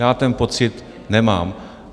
Já ten pocit nemám.